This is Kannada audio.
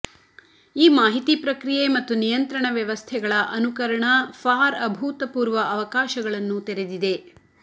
ಈ ಮಾಹಿತಿ ಪ್ರಕ್ರಿಯೆ ಮತ್ತು ನಿಯಂತ್ರಣ ವ್ಯವಸ್ಥೆಗಳ ಅನುಕರಣ ಫಾರ್ ಅಭೂತಪೂರ್ವ ಅವಕಾಶಗಳನ್ನು ತೆರೆದಿವೆ